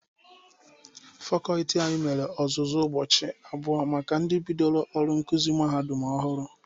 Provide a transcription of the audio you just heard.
Fakọlti anyị mere ọzụzụ ụbọchị abụọ maka ndị ka bidoro ọrụ nkụzị mahadum ọhụrụ.